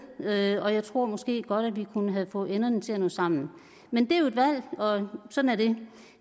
og jeg tror måske godt at vi kunne have fået enderne til at nå sammen men det er jo et valg og sådan er det